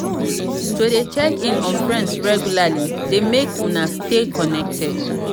to de check in on friends regularly de make una stay connected